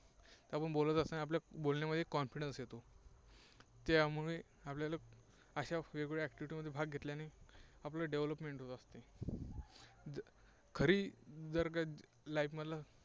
बोलत असताना बोलण्यामध्ये confidence येतो. त्यामुळे आपल्याला अशा वेगवेगळ्या activity मध्ये भाग घेतल्याने आपलं Development होत असते. खरी जर का life मधलं